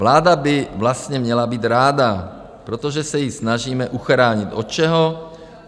Vláda by vlastně měla být ráda, protože se ji snažíme uchránit od čeho?